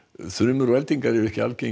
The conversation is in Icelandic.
þrumur og eldingar eru ekki algengar